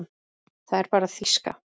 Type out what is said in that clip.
Það er bara þýska.